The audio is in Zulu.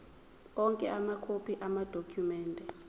onke amakhophi amadokhumende